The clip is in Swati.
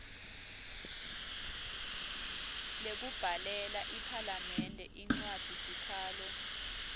lekubhalela iphalamende incwadzisikhalo